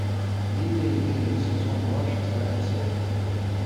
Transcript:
билли и билли сезон два шестая серия